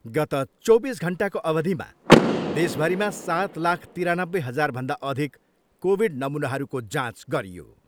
गत चौबिस घन्टाको अवधिमा देशभरिमा सात लाख तिरानब्बे हजारभन्दा अधिक कोभिड नमुनाहरूको जाँच गरियो।